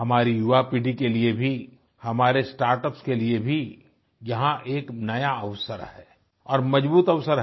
हमारी युवा पीढ़ी के लिए भी हमारे स्टार्टअप्स के लिए भी यहाँ एक नया अवसर है और मजबूत अवसर है